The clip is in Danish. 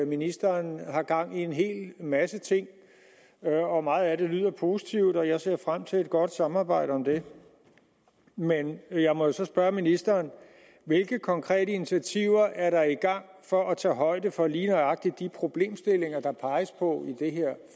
ministeren har gang i en hel masse ting meget af det lyder positivt og jeg ser frem til et godt samarbejde om det men jeg må så spørge ministeren hvilke konkrete initiativer er der i gang for at tage højde for lige nøjagtig de problemstillinger der peges på i det her